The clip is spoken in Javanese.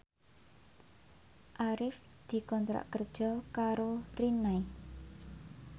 Arif dikontrak kerja karo Rinnai